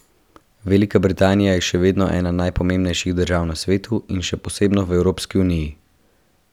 Velika Britanija je še vedno ena najpomembnejših držav na svetu in še posebno v Evropski uniji.